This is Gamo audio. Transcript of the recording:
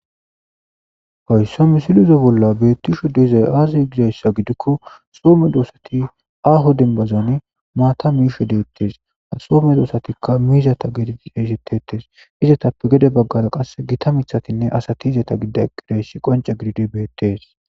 Haysa misileza bolla bettishe dizay aze gizaysa gidiko daro mizari aho denbazan mata mishe desi izetappe gede bagara qase gitta mithatinne asati eqi dizaysi betes